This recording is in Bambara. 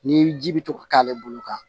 Ni ji bɛ to ka k'ale bolo kan